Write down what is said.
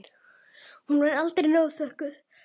Hún verður aldrei nóg þökkuð.